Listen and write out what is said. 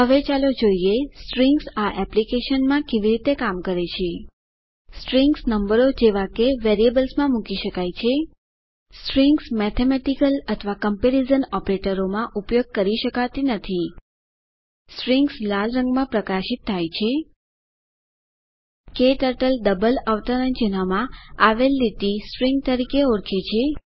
હવે ચાલો જોઈએ સ્ટ્રીંગ્સ આ એપ્લિકેશન કેવી રીતે કામ કરે છે સ્ટ્રીંગ્સ નંબરો જેવા વેરિયેબલ્સમાં મૂકી શકાય છે સ્ટ્રીંગ્સ મેથેમેટીકલ અથવા ક્મ્પેરીઝન ઓપરેટરોમાં ઉપયોગ કરી શકાતી નથી સ્ટ્રીંગ્સ લાલ રંગ માં પ્રકાશિત થાય છે ક્ટર્ટલ ડબલ અવતરણ ચિહ્નમાં આવેલ લીટી સ્ટ્રીંગ તરીકે ઓળખે છે